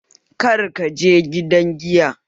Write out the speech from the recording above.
Kar kaje gidan Giya!